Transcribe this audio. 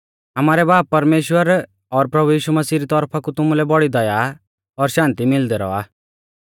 आमारै बाब परमेश्‍वर और प्रभु यीशु मसीह री तौरफा कु तुमुलै बौड़ी दया और शान्ति मिलदी रौआ